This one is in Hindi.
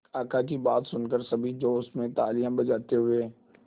काका की बात सुनकर सभी जोश में तालियां बजाते हुए